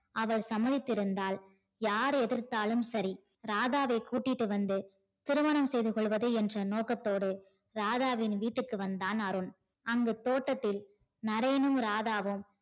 அவள் சமத்திருந்தாள் யார் எதிர்த்தாலும் சரி ராதாவை கூட்டிட்டு வந்து திருமணம் செய்து கொள்ளவது என்று நோக்கதோடு ராதாவின் வீட்டிற்கு வந்தான் அருண் அங்கு தோட்டத்தில் நரேனும் ராதாவும்